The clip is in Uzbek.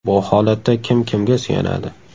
Bu holatda kim kimga suyanadi?